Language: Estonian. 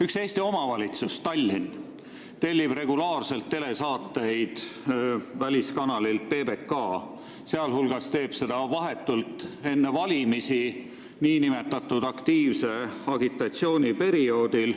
Üks Eesti omavalitsus – Tallinn – tellib regulaarselt telesaateid väliskanalilt PBK, sh teeb seda vahetult enne valimisi, nn aktiivse agitatsiooni perioodil.